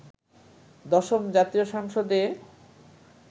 দশম জাতীয় সংসদে